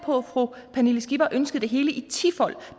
på at fru pernille skipper ønsker det hele i tifold